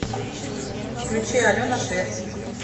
включи алена швец